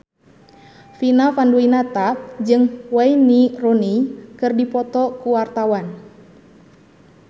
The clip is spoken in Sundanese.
Vina Panduwinata jeung Wayne Rooney keur dipoto ku wartawan